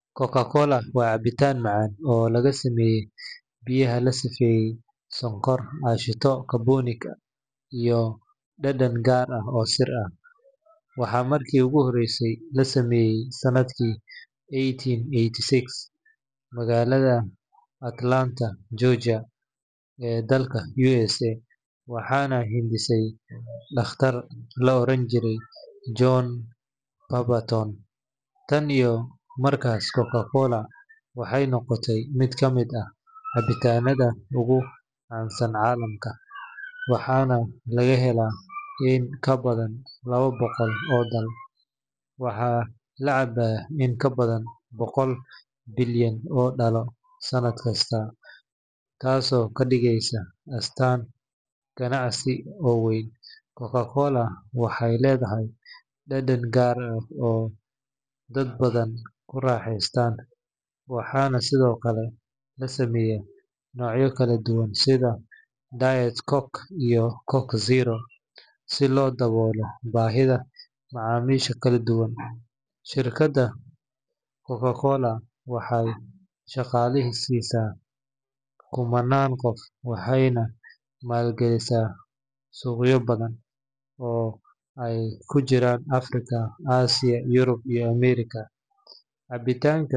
Coca-Cola waa cabitaan macaan oo laga sameeyo biyaha la safeeyey, sonkor, aashitada carbonic, iyo dhadhan gaar ah oo sir ah. Waxaa markii ugu horreysay la sameeyey sannadkii eighteen eighty-six magaalada Atlanta, Georgia ee dalka USA, waxaana hindisay dhakhtar la oran jiray John Pemberton. Tan iyo markaas, Coca-Cola waxay noqotay mid ka mid ah cabitaanada ugu caansan caalamka, waxaana laga helaa in ka badan laba boqol oo dal. Waxaa la cabaa in ka badan boqol bilyan oo dhalo sanad kasta, taasoo ka dhigaysa astaan ganacsi oo weyn. Coca-Cola waxay leedahay dhadhan gaar ah oo dad badan ku raaxeystaan, waxaana sidoo kale la sameeyaa noocyo kala duwan sida Diet Coke iyo Coke Zero si loo daboolo baahiyaha macaamiisha kala duwan. Shirkadda Coca-Cola waxay shaqaaleysiisaa kumannaan qof waxayna maal gashataa suuqyo badan, oo ay ku jiraan Afrika, Aasiya, Yurub, iyo Ameerika. Cabitaanka.